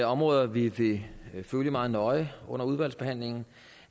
områder vi vi vil følge meget nøje under udvalgsbehandlingen